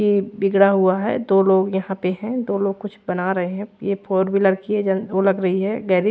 ये बिगड़ा हुआ है दो लोग यहाँ पे है दो लोग कुछ बना रहे है ये फॉर व्हीलर की है ज ओ लग रही है गैरे--